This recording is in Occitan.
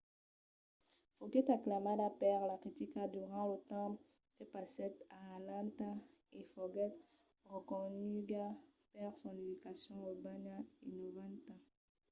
foguèt aclamada per la critica durant lo temps que passèt a atlanta e foguèt reconeguda per son educacion urbana innovanta